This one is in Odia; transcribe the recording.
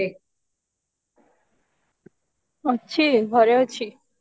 ଅଛି ଘରେ ଅଛି